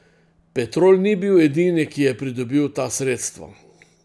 Petrol ni bil edini, ki je pridobil ta sredstva.